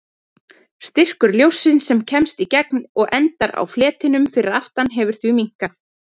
Styrkur ljóssins sem kemst í gegn og endar á fletinum fyrir aftan hefur því minnkað.